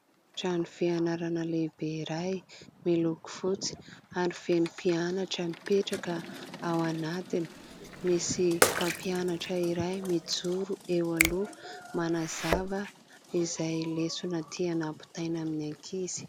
Trano fianarana lehibe iray miloko fotsy ary feno mpianatra mipetraka ao anatiny. Misy mpampianatra iray mijoro eo aloha manazava izay lesona tiana ampitaina amin'ny ankizy.